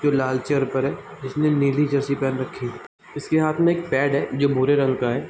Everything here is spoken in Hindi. जो लाल चेयर पर है जिसमें नीली जर्सी पहन रखी है उसके हाथ में एक पैड है जो भूरे रंग का है।